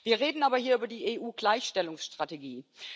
Wir reden aber hier über die EU Gleichstellungsstrategie.